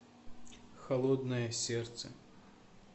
холодное сердце